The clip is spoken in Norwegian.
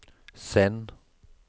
send